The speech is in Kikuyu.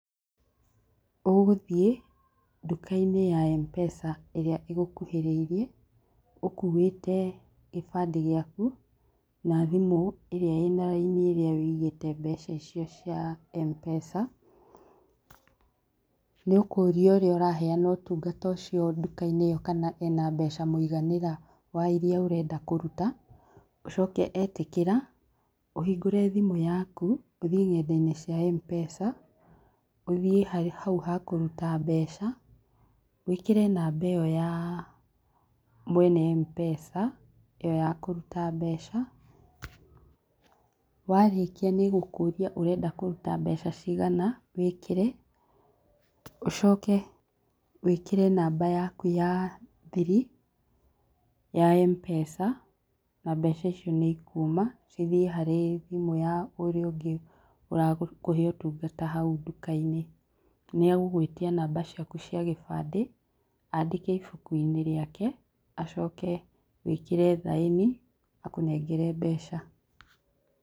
Ũgũthiĩ nduka-inĩ ya Mpesa ĩrĩa ĩgũkuhĩrĩirie ũkuĩte kĩbandĩ gĩaku na thimũ irĩa ĩna raini ĩrĩa wũigĩte mbeca icio cia Mpesa, nĩ ũkũria ũrĩa ũraheana ũtungata nduka-inĩ ĩyo kana ena mbeca mũiganĩra wa iria ũrenda kũruta, ũcoke etĩkĩra ũhingũre thimũ yaku ũthiĩ nenda-inĩ cia Mpesa, ũthiĩ hau hakũruta mbeca, wĩkĩre namba ĩyo ya mwene Mpesa, ĩyo ya kũruta mbeca, warĩkia nĩgũkũria ũrenda kũruta mbeca cigana, wĩkĩre, ũcoke wĩkĩre namba yaku ya thiri ya Mpesa, na mbeca icio nĩ ikuma cithiĩ harĩ thimũ ya ũrĩa ũngĩ ũrakũhe ũtungata hau nduka-inĩ, nĩ egũgwĩtia namba ciaku cia gĩbandĩ andĩke ibuku-inĩ rĩake, acoke wĩkĩre thaĩni akũnengere mbeca.